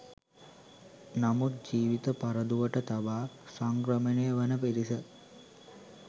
නමුත් ජීවිත පරදුවට තබා සංක්‍රමණය වන පිරිස